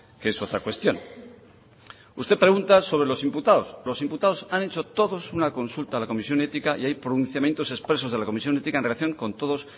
que es otra cuestión usted pregunta sobre los imputados los imputados han hecho todos una consulta a la comisión ética y hay pronunciamientos expresos de la comisión ética en relación con todos